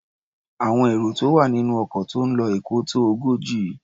Àwọn èrò tó wà nínú ọkọ̀ tó ń lo Èkó tó ogójì.